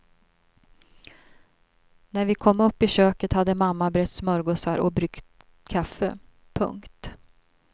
När vi kom upp i köket hade mamma brett smörgåsar och bryggt kaffe. punkt